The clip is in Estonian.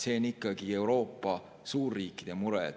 See on ikkagi Euroopa suurriikide mure.